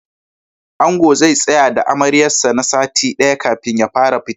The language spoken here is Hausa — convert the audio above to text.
Angon zai tsaya da Amaryar sa na sati ɗaya kafin ya fara fita.